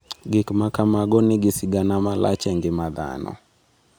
Gik ma kamago nigi sigana malach e ngima dhano.